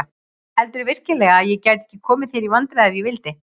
Heldurðu virkilega að ég gæti ekki komið þér í vandræði ef ég vildi?